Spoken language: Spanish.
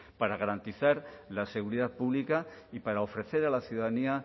para garantizar la seguridad pública y para ofrecer a la ciudadanía